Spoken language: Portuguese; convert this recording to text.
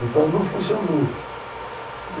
Então, não funcionou.